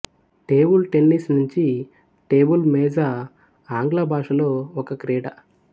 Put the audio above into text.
table tennis నించి table మేజా ఆంగ్లభాష లో ఒక క్రీడ